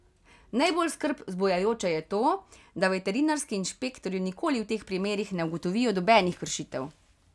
Najbolj skrb vzbujajoče je to, da veterinarski inšpektorji nikoli v teh primerih ne ugotovijo nobenih kršitev.